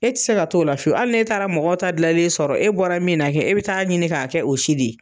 E ti se ka t'o la fiyewu , hali n'e taara mɔgɔ ta gilanlen sɔrɔ e bɔra min na kɛ e be taa ɲini k'a kɛ o si de ye.